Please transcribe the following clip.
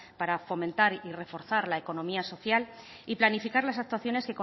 para fomentar y reforzar la economía social y planificar las actuaciones